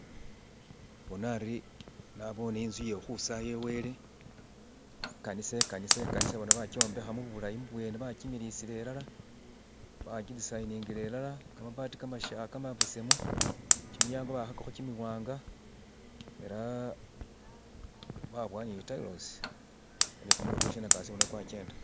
bona ari nabone intzu iyekhwisaya wele ikanisa ikanisa ikanisa bona bakyimbekha mubulayi bubwene bakimilisa ilala bakidisainingila ilala kamabati kamasha kamabesemu kimilyango baakhakakho kimiwanga ela babowa ni tilosi ni kumulilo kwe shinyakasi bona kwakyenda.